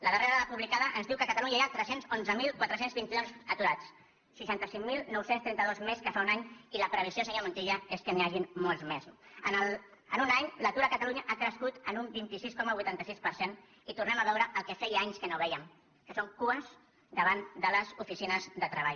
la darrera dada publicada ens diu que a catalunya hi ha tres cents i onze mil quatre cents i vint dos aturats seixanta cinc mil nou cents i trenta dos més que fa un any i la previsió senyor montilla és que n’hi hagin molts més no en un any l’atur a catalunya ha crescut un vint sis coma vuitanta sis per cent i tornem a veure el que feia anys que no vèiem que són cues davant les oficines de treball